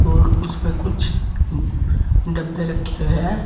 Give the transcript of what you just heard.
और उसमें कुछ डब्बे रखे हुए है।